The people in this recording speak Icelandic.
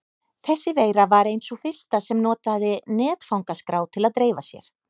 Þessi veira var ein sú fyrsta sem notaði netfangaskrá til að dreifa sér.